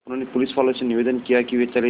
उन्होंने पुलिसवालों से निवेदन किया कि वे चले जाएँ